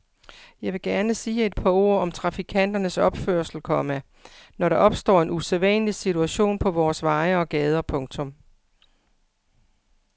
Jeg vil gerne sige et par ord om trafikanternes opførsel, komma når der opstår en usædvanlig situation på vores veje og gader. punktum